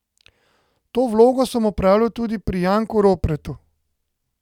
To vlogo sem opravljal tudi pri Janku Ropretu.